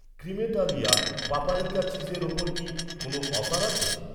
Cremeitalia paprika চিজের ওপর কি কোনও অফার আছে?